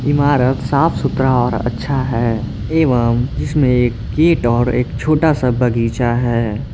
इमारत साफ सुथरा और अच्छा है एवं जिसमें एक गेट और एक छोटा सा बगीचा है।